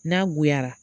N'a goyara